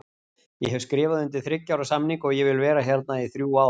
Ég hef skrifað undir þriggja ára samning og ég vil vera hérna í þrjú ár.